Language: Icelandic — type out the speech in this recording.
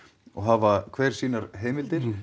og hafa hver sínar heimildir